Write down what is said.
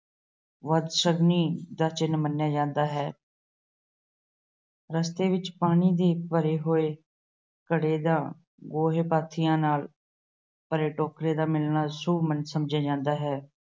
ਬਦਸ਼ਗਨੀ ਦਾ ਚਿੰਨ੍ਹ ਮੰਨਿਆ ਜਾਂਦਾ ਹੈ। ਰਸਤੇ ਵਿੱਚ ਪਾਣੀ ਦੇ ਭਰੇ ਹੋਏ ਘੜੇ ਦਾ ਗੋਹੇ-ਪਾਥੀਆਂ ਨਾਲ ਭਰੇ ਟੋਕਰੇ ਦਾ ਮਿਲਣਾ ਸ਼ੁੱਭ ਮੰਨਿਆ ਜਾਂਦਾ ਹੈ।